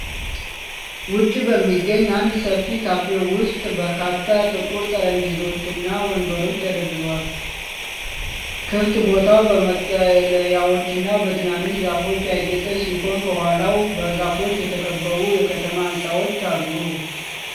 ውጪ በሚገኝ አንድ ሰፊ ካፌ ውስጥ በርካታ ጥቁር ጠረጴዛዎችና ወንበሮች ተደርድረዋል። ክፍት ቦታው በመጠለያዎችና በትናንሽ ዛፎች ያጌጠ ሲሆን፣ ከኋላው በዛፎች የተከበቡ የከተማ ሕንፃዎች አሉ።